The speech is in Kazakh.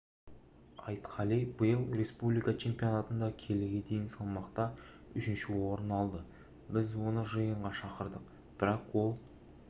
айтқали биыл республика чемпионатында келіге дейін салмақта үшінші орын алды біз оны жиынға шақырдық бірақ ол